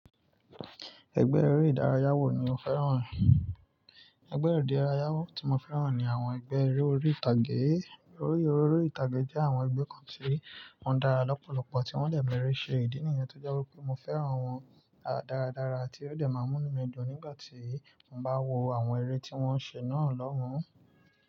Ẹgbẹ́ eré ìdárayá wò ni o fẹ́ràn? Ẹgbẹ́ eré ìdárayá tí mo fẹ́ràn ni àwọn ẹgbẹ́ eré orí ìtàgé. Eré orí ìtàgé jẹ́ àwọn ẹgbẹ́ kan tí wọ́n dára lọ́pọ̀lọpọ̀ tí wọ́n dẹ̀ meré síí ṣe ìdí nìyàn tó jọ wí pé mo fẹ́ràn wọn dáradára tí ó dẹ̀ máa mú mí le jù nígbà tí mo bá wo àwọn eré tí wọ́n ń ṣe náà lọ́mú.